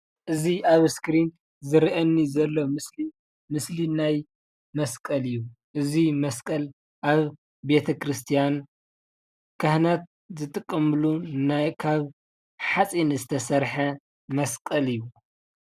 ኣዚ ኣብ እስከሪን ዝረኣየኒ ዘሎ ምስሊ ምስሊ ናይ መስቀል እዩ። ምስሊ እዚ መስቀል ኣብ ቤተ-ክርስትያን ካሃናት ዝጥቀምሉ ናይ ካብ ሓፂን ዝተሰረሐ መስቀል እዩ፡፡